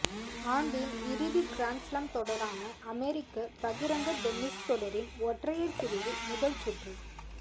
ஆண்டின் இறுதி கிராண்ட்ஸ்லாம் தொடரான அமெரிக்க பகிரங்க டென்னிஸ் தொடரின் ஒற்றையர் பிரிவு முதல் சுற்றுப்